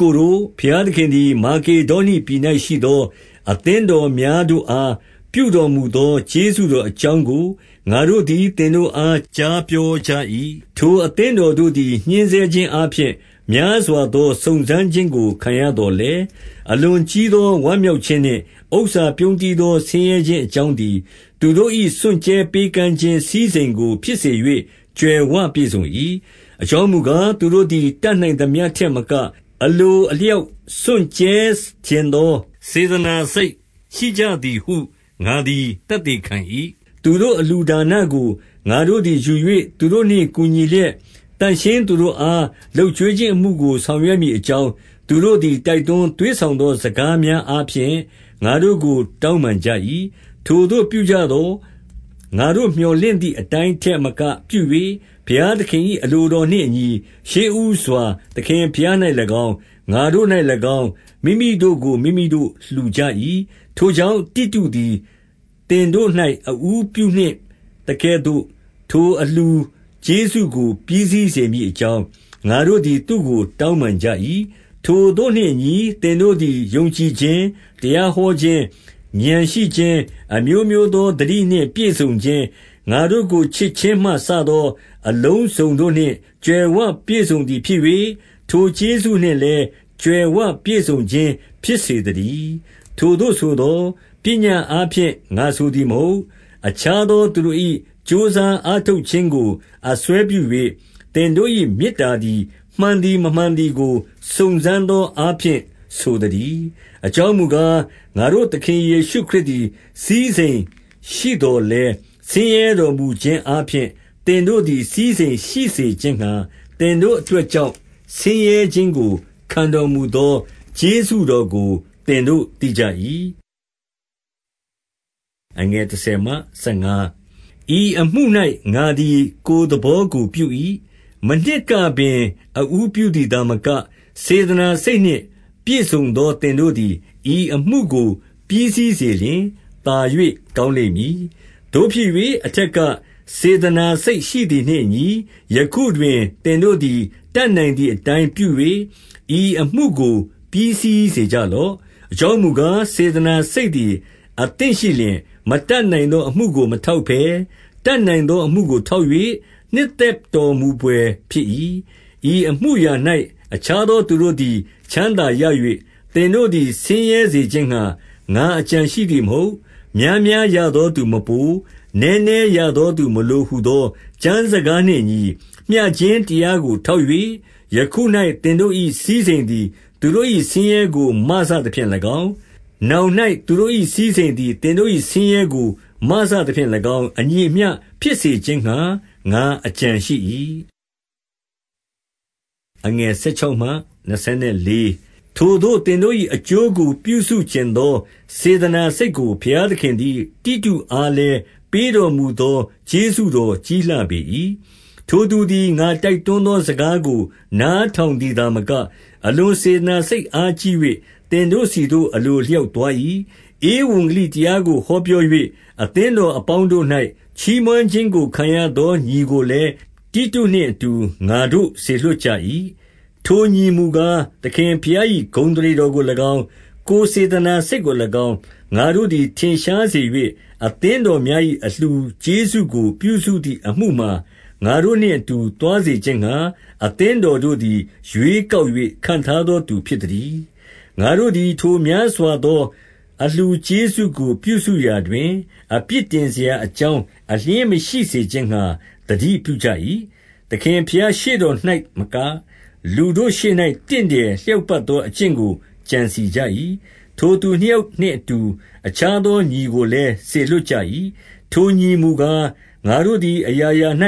ကိုတို့၊ ဘုရားသခင်သည် မာကေဒေါနိပြည်၌ ရှိသော အသင်းတော်များတို့အားပြုတော်မူသော ကျေးဇူတော်အကြောင်းကို ငါတို့သည်သင်တို့အား ကြားပြောကြ၏။ 2 ထိုအသင်းတော်တို့သည် ညှဉ်းဆဲခြင်းအားဖြင့် များစွာသော စုံစမ်းခြင်းကို ခံရသော်လည်း၊ အလွန်ကြီး သော ဝမ်းမြောက်ခြင်းနှင့်၊ ဥစ္စာပြုန်းတီးသော ဆင်းရဲခြင်းအကြောင်းသည်၊ သူတို့၏စွန့်ကြဲပေးကမ်းခြင်း စည်းစိမ်ကို ဖြစ်စေ၍ကြွယ်ဝပြည့်စုံ၏။ 3 အကြောင်းမူကား၊ သူတို့သည်တတ်နိုင်သမျှ ထက်မက၊ အလိုအလျှောက်စွန့်ကြဲချင်သော စေတနာ စိတ်ရှိကြသည်ဟု ငါသည်သက်သေခံ၏။ 4 သူတို့အလှူဒါနကို ငါတို့သည်ယူ၍ သူတို့နှင့် ကူညီလျက်၊ သန့်ရှငိးသူတို့အားလုပ်ကျွေးခြင်းအမှုကို ဆောင်ရွက်မည်အကြောင်း၊ သူတို့သည် တိုက်တွန်း သွေးဆောင်သော စကားများအားဖြင့် ငါတို့ကို တောင်းပန် ကြ၏။ 5 ထိုသို့ပြုကြသော်၊ ငါတို့မြော်လင့်သည်အတိုင်းထက်မကပြု၍၊ ဘုရားသခင်၏ အလိုတော်နှင့်အညီ ရှေးဦးစွာသခင်ဘုရား၌၎င်း၊ ငါတို့၌၎င်း၊ မိမိတို့ကိုမိမိတို့ လှူကြ၏။ 6 ထိုကြောင့် တိတုသည်သင်တို့၌ အဦးပြုနှင့်သကဲ့သို့ ထိုအလှူကျေးဇူးကို ပြီးစီးစေမည်အကြောင်း၊ ငါတို့သည်သူ့ကိုတောင်းပန်ကြ၏။ 7 ထိုသို့နှင့်အညီသင်တို့သည် ယုံကြည်ခြင်း၊ တရာဟောခြင်း၊ ဥာဏ်ရှိခြင်း၊ အမျိုးမျိုးသောသတိနှင့် ပြည့်စုံခြင်း၊ ငါတို့ကိုချစ်ခြင်းမှ စသော အလုံးစုံတို့နှင့် ကြွယ်ဝပြည့်စုံသည်ဖြစ်၍ ထိုကျေးဇူးနှင့်လည်း ကြွယ်ဝ ပြည်စုံခြင်းဖြစ်စေသတည်း။ 8 ထိုသို့ဆိုသော်၊ ပညတ်အားဖြင့် ငါဆိုသည် မဟုတ်။ အခြားသောသူတို့၏ ကြိုးစားအားထုတ်ခြင်းကို အစွဲပြု၍၊ သင်တို့၏မေတ္တာသည် မှန်သည်မမှန်သည်ကို စုံစမ်းသောအားဖြင့်ဆိုသတည်း။ 9 အကြောင်းမူကား၊ ငါတို့သခင်ယေရှုခရစ်သည် စည်းစိမ်ရှိသော်လည်း၊ ဆင်းရဲတော်မူခြင်းအားဖြင့် သင်တို့သည်စည်းစိမ်ရှိစေခြင်းငှါ၊ သင်တို့အတွက်ကြောင့် ဆင်းရဲခြင်းကိုခံတော်မူသော ကျေးဇူးတော်ကို သင်တို့ သိကြ၏။ 10 ဤအမှု၌ငါသည် ကိုယ်သဘောကိုပြ၏။ မနှစ်ကပင်အဦးပြုသည်သာမက၊ စေတနာစိတ်နှင့် ပြည့်စုံသောသင်တို့သည် ဤအမှုကိုပြီးစေလျှင် သာ၍ ကောင်းလိမ့်မည်။ 11 သို့ဖြစ်၍၊ အထက်ကစေတနာရှိသည်နှင့်အညီ၊ ယခုတွင်သင်တို့သည် တတ်နိုင်သည်အတိုင်းပြု၍ ဤအမှုကို ပြီးစီးစေကြလော့။ 12 အကြောင်းမူကား၊ စေတနာစိတ်သည် အသင့်ရှိလျှင်၊ မတတ်နိုင်သောအမှုကိုမထောက်ဘဲ၊ တတ်နိုင်သောအမှုကိုထောက်၍ နှစ်သက်တော်မူဘွယ်ဖြစ်၏။ 13 ဤအမူရာ၌ အခြားသောသူတို့သည် ချမ်းသာရ၍ သင်တို့သည်ဆင်းရဲစေခြင်းငှါ ငါအကြံရှိသည် မဟုတ်။ 14 များများရသောသူမပို။ နည်းနည်းရသော သူမလိုဟူသောကျမ်း စကားနှင့်အညီ၊ 15 မျှခြင်းတရားကိုထောက်၍၊ ယခု၌ သင်တို့၏ စည်းစိမ်သည် သူတို့၏ဆင်းရဲကို မစသဖြင့်၎င်း၊ နောင်၌ သူတို့၏စည်းစိမ်သည် သင်တို့၏ဆင်းရဲကို မစသဖြင့် ၎င်း၊ အညီအမျှဖြစ်စေခြင်းငှါ ငါအကြံရှိ၏။ 16 ထိုသို့သင်တို့၏ အကျိုးကိုပြုစုချင်သော စေတနာစိတ်ကို ဘုရားသခင်သည် တိတုအားလည်း ပေးတော်မူသော ကျေးဇူးတော်ကြီးလှပေ၏။ 17 ထိုသူသည် ငါတိုက်တွန်းသောစကားကို နားထောင်သည်သာမက၊ အလွန်စေတနာစိတ် အားကြီး ၍ သင်တို့ဆီသို့ အလိုအလျောက်သွား၏။ 18 ဧဝံဂေလိတရားကိုဟောပြော၍ အသင်းတော်အပေါင်းတို့၌ ချီးမွမ်းခြင်းကိုခံရသောညီကိုလည်း တိတုနှင့်အတူ ငါတို့စေလွှတ်ကြ၏။ 19 ထိုညီမူကား၊ သခင်ဘုရား၏ ဂုဏ်အသရေတော်ကို၎င်း၊ ကိုယ်စေတနာစိတ်ကို၎င်း၊ ငါတို့သည် ထင်ရှားစေ၍၊ အသင်းတော်များ၏အလှူကျေးဇူးကို ပြုစုသည့်အမှုမှာ ငါတို့နှင့်အတူသွားစေခြင်းငှါ၊ အသင်းတော်တို့သည် ရွေးကောက်၍ ခန့်ထားသောသူ ဖြစ်သတည်း။ 20 ငါတို့သည် ထိုများစွာသော အလှူကျေးဇူးကို ပြုစုရာတွင် အပြစ်တင်စရာအကြောင်း အလျှင်းမရှိ စေခြင်းငှါ သတိပြုကြ၏။ 21 သခင်ရှေ့တော်၌သာမက၊ လူတို့ရှေ့၌ တင့်တယ်လျှောက်ပတ်သော အကျင့်ကိုကြံစည်ကြ၏။ 22 ထိုသူနှစ်ယောက်နှင့်အတူ အခြားသောညီကိုလည်း စေလွှတ်ကြ၏။ ထိုညီမူကား၊ ငါတို့သည်အရာရာ၌